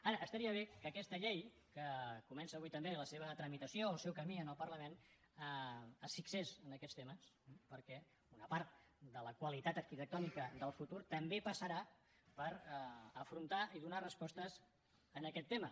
ara estaria bé que aquesta llei que comença avui també la seva tramitació el seu camí en el parlament es fixés en aquests temes perquè una part de la qualitat arquitectònica del futur també passarà per afrontar i donar respostes a aquest tema